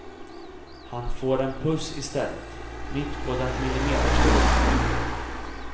Han får en puss i stället, mitt på den millimeterstora munnen.